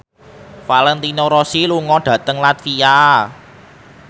Valentino Rossi lunga dhateng latvia